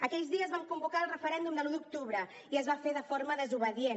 aquells dies vam convocar el referèndum de l’un d’octubre i es va fer de forma desobedient